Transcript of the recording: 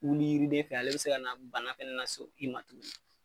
yiriden fɛ ale bɛ se ka na bana bɛɛ lasɔrɔ yiri ma.